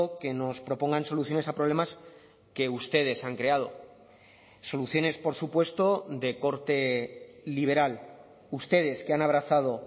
que nos propongan soluciones a problemas que ustedes han creado soluciones por supuesto de corte liberal ustedes que han abrazado